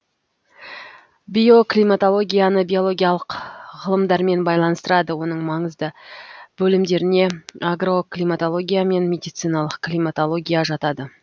биоклиматологияны биологиялық ғылымдармен байланыстырады оның маңызды бөлімдеріне агроклиматология мен медициналық климатология жатады